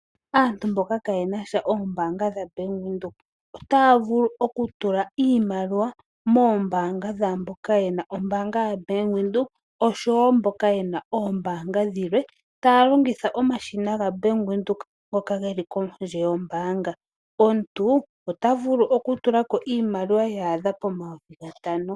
Aantu mboka kaayenasha oombaanga dhaBank Windhoek otaya vulu okutula iimaliwa moombaanga dhaamboka yena ombaanga yaBank Windhoek osho wo mboka yena oombaanga dhilwe, taya longitha omashina gaBank Windhoek ngoka geli kondje yombaanga. Omuntu ota vulu oku tula ko iimaliwa yaadha pomayovi gatano.